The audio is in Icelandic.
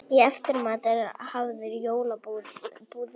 Í eftirmat er hafður jólabúðingur.